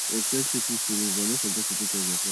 respect peoples feeling but no forget to take care of yourself